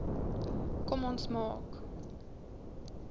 kom ons maak